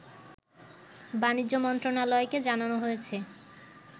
বাণিজ্য মন্ত্রণালয়কে জানানো হয়েছে